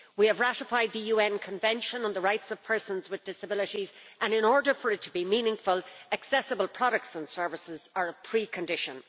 We have ratified the UN Convention on the Rights of Persons with Disabilities and, in order for it to be meaningful, accessible products and services are a precondition.